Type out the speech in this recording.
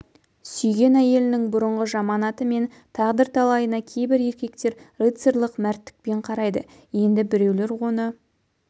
сүйген әйелінің бұрынғы жаман аты мен тағдыр талайына кейбір еркектер рыцарлық мәрттікпен қарайды енді біреулер оны